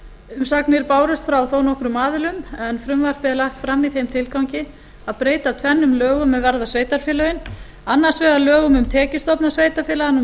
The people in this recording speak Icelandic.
umsagnir bárust frá þó nokkrum aðilum en frumvarpið er lagt fram í þeim tilgangi að breyta tvennum lögum er varða sveitarfélögin annars vegar lögum um tekjustofna sveitarfélaga númer